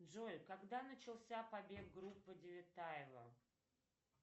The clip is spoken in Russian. джой когда начался побег группы девятаева